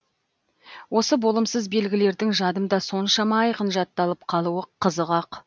осы болымсыз белгілердің жадымда соншама айқын жатталып қалуы қызық ақ